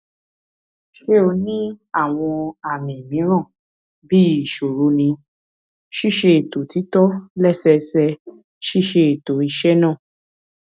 ṣe o ni awọn àmì mìíràn bii iṣoro ní ṣíṣètò títò lẹsẹẹsẹ ṣíṣètò iṣẹ náà